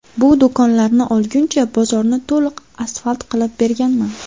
Bu do‘konlarni olguncha bozorni to‘liq asfalt qilib berganman.